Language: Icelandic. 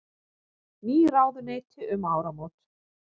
Ný ráðuneyti um áramót